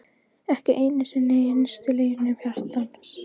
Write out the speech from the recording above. Ekki einu sinni í innstu leynum hjartans!